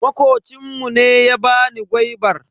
Makocin mu ne ya bani gwaibar.